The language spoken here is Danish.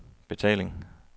betaling